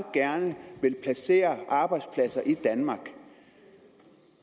gerne vil placere arbejdspladser i danmark